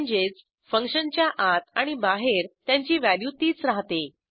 म्हणजेच फंक्शनच्या आत आणि बाहेर त्यांची व्हॅल्यू तीच राहते